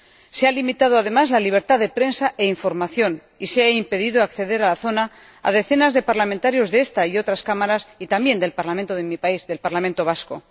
Se ha limitado, además, la libertad de prensa e información, y se ha impedido acceder a la zona a decenas de parlamentarios de esta y otras Cámaras y también del parlamento de mi país, del Parlamento Vasco.